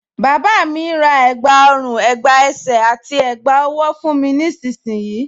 Bàbá mi ń ra ẹ̀gbá ọrùn, ẹ̀gbá ẹsẹ̀ àti ẹ̀gbá ọwọ́ fún mi nísinsìnyí